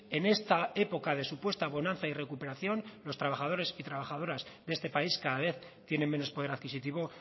en esta época de supuesta bonanza y recuperación los trabajadores y trabajadoras de este país cada vez tienen menos poder adquisitivo